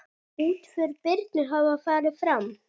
Útför Birnu hefur farið fram.